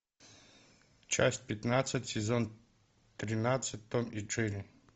часть пятнадцать сезон тринадцать том и джерри